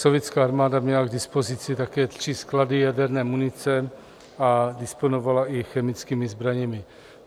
Sovětská armáda měla k dispozici také tři sklady jaderné munice a disponovala i chemickými zbraněmi.